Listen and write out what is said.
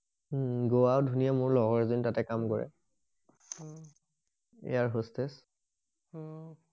উম গোৱা ধুনীয়া মোৰ লগৰ এজন তাতে কাম কৰে অত এয়াৰ হোষ্টেচ